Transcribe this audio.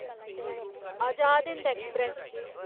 Azad Hind express